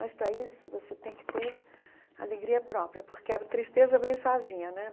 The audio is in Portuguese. Mas, para isso, você tem que ter alegria própria, porque a tristeza vem sozinha né.